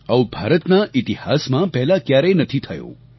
આવું ભારતના ઈતિહાસમાં પહેલા ક્યારેય નથી થયું